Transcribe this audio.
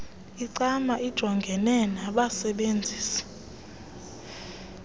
icma ijongene nabasebenzisi